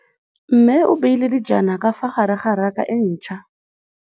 Mmê o beile dijana ka fa gare ga raka e ntšha.